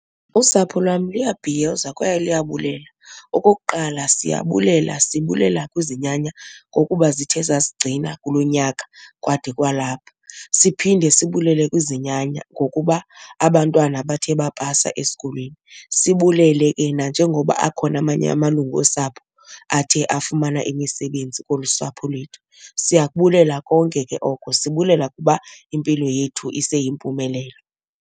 Usapho lwam luyabhiyoza kwaye luyabulela. Okokuqala siyabulela sibulela kwizinyanya ngokuba zithe zasigcina kulo nyaka kwade kwalapha. Siphinde sibulele kwizinyanya ngokuba abantwana bathe bapasa esikolweni. Sibulele ke nanjengoba akhona amanye amalungu osapho athe afumana imisebenzi kolu sapho lethu. Siyabulela konke ke oko, sibulela ukuba impilo yethu iseyimpumelelo.